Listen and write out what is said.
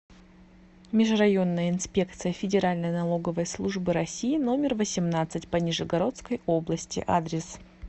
межрайонная инспекция федеральной налоговой службы россии номер восемнадцать по нижегородской области адрес